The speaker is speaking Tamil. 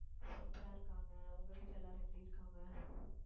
super ஆ இருக்காங்க. உங்க வீட்டுல எல்லாரும் எப்படி இருக்காங்க?